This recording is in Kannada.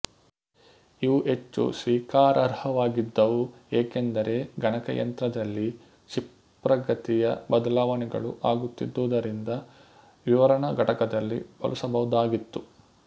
ಇವು ಹೆಚ್ಚು ಸ್ವೀಕಾರಾರ್ಹವಾಗಿದ್ದವು ಏಕೆಂದರೆ ಗಣಕಯಂತ್ರದಲ್ಲಿ ಕ್ಷೀಪ್ರಗತಿಯ ಬದಲಾವಣೆಗಳು ಆಗುತ್ತಿದ್ದುದರಿಂದ ವಿವರಣ ಘಟಕದಲ್ಲಿ ಬಳಸಬಹುದಾಗಿತ್ತು